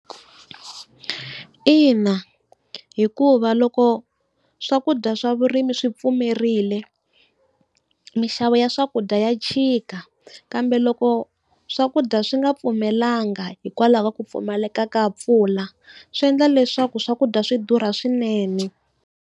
Ina, hikuva loko swakudya swa vurimi swi pfumerile, mixavo ya swakudya ya chika, kambe loko swakudya swi nga pfumelelanga hikwalaho ka ku pfumaleka ka mpfula swi endla leswaku swakudya swi durha swinene.